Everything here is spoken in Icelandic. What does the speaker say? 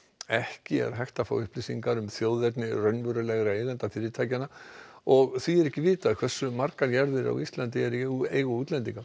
ekki er hægt að fá upplýsingar um þjóðerni endanlegra eigenda fyrirtækjanna og því er ekki vitað hversu margar jarðir á Íslandi eru í eigu útlendinga